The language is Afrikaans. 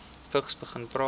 vigs begin praat